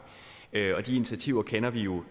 og de initiativer kender vi jo